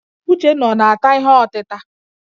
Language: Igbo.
Uchenna ọ na-ata ihe ọtịta?